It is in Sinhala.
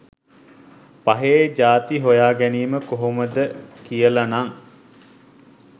පහේ ජාති හොයා ගැනීම කොහොමද කියලනං